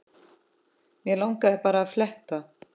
Mig langaði bara að fletta